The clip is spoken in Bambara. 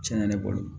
Tiɲɛna ne bolo